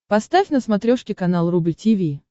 поставь на смотрешке канал рубль ти ви